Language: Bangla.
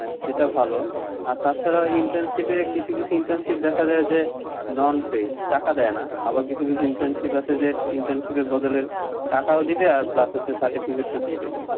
হ্যাঁ, সেটা ভালো, আর তাছাড়া internship এ, কিছু কিছু internship দেখা যায় যে non paid, টাকা দেয়া, আবার কিছু কিছু internship আছে যে internship এর বদলে টাকাও দিবে আর plus হচ্ছে certificate ও দিবে,